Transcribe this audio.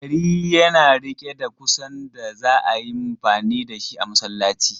Dari yana riƙe da kusan da za a yi mfani da shi a masallaci.